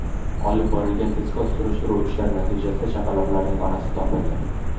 Olib borilgan tezkor surishtiruv ishlari natijasida chaqaloqlarning onasi topildi.